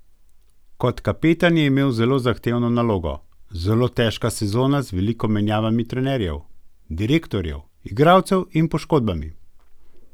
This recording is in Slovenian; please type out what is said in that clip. Kot kapetan je imel zelo zahtevno nalogo: "Zelo težka sezona z veliko menjavami trenerjev, direktorjev, igralcev in poškodbami.